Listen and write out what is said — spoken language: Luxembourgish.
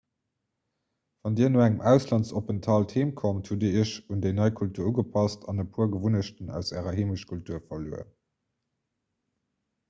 wann dir no engem auslandsopenthalt heem kommt hutt dir iech un déi nei kultur ugepasst an e puer gewunnechten aus ärer heemechtkultur verluer